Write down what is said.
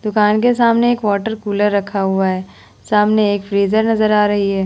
दुकान के सामने एक वाटर कूलर रखा हुआ है सामने एक फ्रिजर नजर आ रही है ।